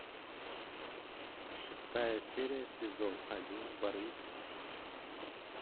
шестая серия сезон один барвиха